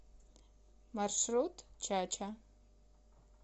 маршрут чача